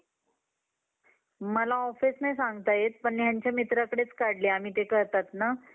cricket माझ्या मना मध्ये खूप बसला आहे